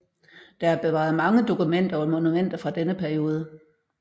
Der er bevaret mange dokumenter og monumenter fra denne periode